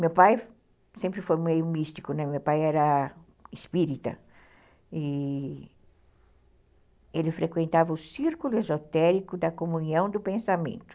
Meu pai sempre foi meio místico, né, meu pai era espírita, e ele frequentava o círculo esotérico da comunhão do pensamento.